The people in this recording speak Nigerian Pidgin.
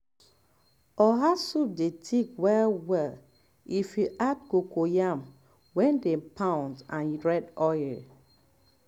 oha soup dey thick well well um um if you add cocoyam wey dem pound and red oil